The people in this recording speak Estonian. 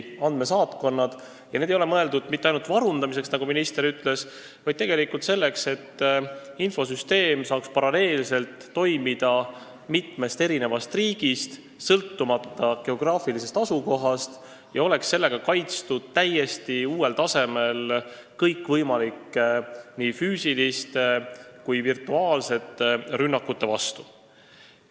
Need ei ole mõeldud mitte ainult varundamiseks, nagu minister ütles, vaid selleks, et infosüsteem saaks paralleelselt toimida mitmes riigis, sõltumata geograafilisest asukohast, ja oleks sellega täiesti uuel tasemel kaitstud kõikvõimalike nii füüsiliste kui ka virtuaalsete rünnakute vastu.